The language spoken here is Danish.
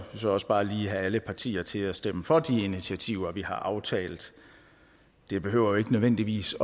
så også bare lige have alle partier til at stemme for de initiativer vi har aftalt det behøver jo ikke nødvendigvis